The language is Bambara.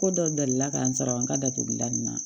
Ko dɔ delila ka n sara n ka datugulan in na